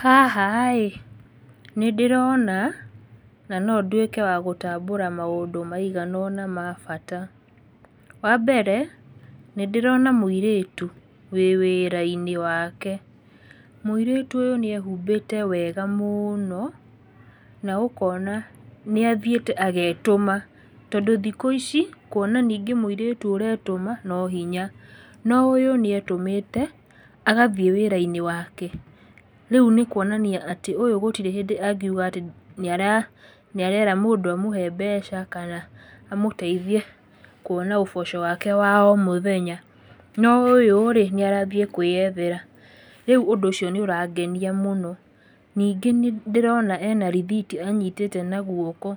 Haha ĩ, nĩ ndĩrona, na no nduĩke wa gũtambura maũndũ maiganona mabata. Wa mbere, nĩ ndĩrona mũĩrĩtu wĩwĩra-inĩ wake. Mũirĩtu ũyũ nĩ ehumbĩte wega mũno na ũkona nĩ athiĩte agetũma, tondũ thikũ ici kuona ningĩ mũirĩtu ũretũma no hinya. No ũyũ nĩ etũmĩte agathiĩ wĩra-inĩ wake, rĩu nĩ kuonania atĩ ũyũ gũtirĩ hĩndĩ angiuga atĩ nĩera nĩ arera mũndũ amũhe mbeca, kana amũteithie kuona ũboco wake wa o mũthenya. No ũyũ rĩ, nĩ arathiĩ kwĩyethera, rĩu ũndũ ũcio nĩ ũrangenia mũno. Ningĩ nĩ ndĩrona ena rĩthiti anyhitĩte na guoko,